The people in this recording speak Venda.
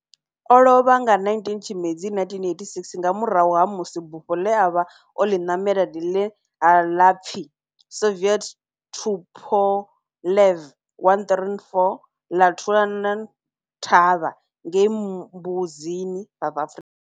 O lovha nga 19 Tshimedzi 1986 nga murahu ha musi bufho le a vha o li namela, line la pfi Soviet Tupolev 134 la thulana thavha ngei Mbuzini, South Africa.